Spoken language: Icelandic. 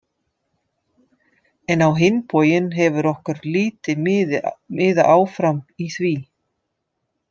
En á hinn bóginn hefur okkur lítið miðað áfram í því.